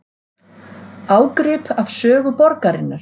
Ágrip af sögu borgarinnar